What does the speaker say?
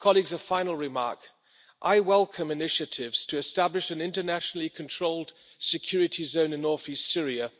A final remark I welcome initiatives to establish an internationally controlled security zone in north east Syria.